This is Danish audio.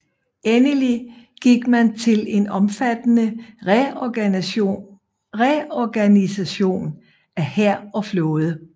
Endelig gik man til en omfattende reorganisation af hær og flåde